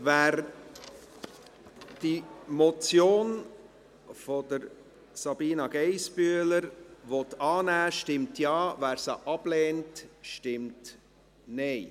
Wer die Motion von Sabina Geissbühler annehmen will, stimmt Ja, wer sie ablehnt, stimmt Nein.